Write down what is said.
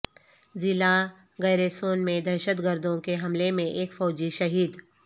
ضلع گیرے سون میں دہشت گردوں کے حملے میں ایک فوجی شہید